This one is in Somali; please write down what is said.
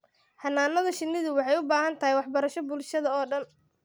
Xannaanada shinnidu waxay u baahan tahay waxbarasho bulshada oo dhan.